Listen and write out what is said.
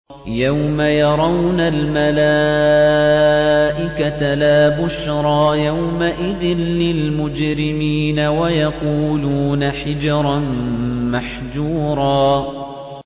يَوْمَ يَرَوْنَ الْمَلَائِكَةَ لَا بُشْرَىٰ يَوْمَئِذٍ لِّلْمُجْرِمِينَ وَيَقُولُونَ حِجْرًا مَّحْجُورًا